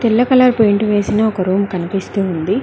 తెల్ల colour paint వేసిన ఒక రూమ్ కనిపిస్తూ ఉంది.